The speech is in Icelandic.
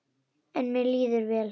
En mér líður vel.